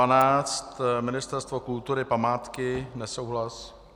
A12, Ministerstvo kultury, památky, nesouhlas.